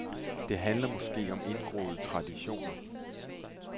Det handler måske om indgroede traditioner.